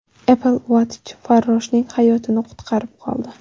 Apple Watch farroshning hayotini qutqarib qoldi.